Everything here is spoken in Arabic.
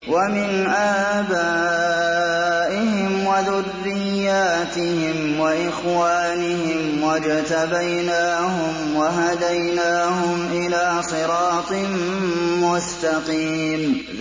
وَمِنْ آبَائِهِمْ وَذُرِّيَّاتِهِمْ وَإِخْوَانِهِمْ ۖ وَاجْتَبَيْنَاهُمْ وَهَدَيْنَاهُمْ إِلَىٰ صِرَاطٍ مُّسْتَقِيمٍ